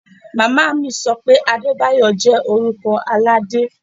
Mama mi so pé Adebayo jẹ́ orúkọ Aládé.